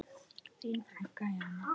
Þín frænka Jana.